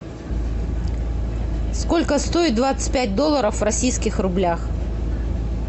сколько стоит двадцать пять долларов в российских рублях